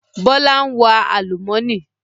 Bọlá ń wa àlùmọ́nì